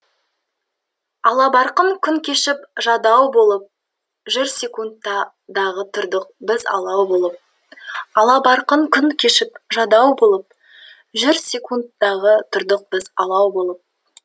албарқын күн кешіп жадау болып жүрсек дағы тұрдық біз алау болдық алабарқын күн кешіп жадау болып жүрсек дағы тұрдық біз алау болып